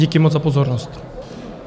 Díky moc za pozornost.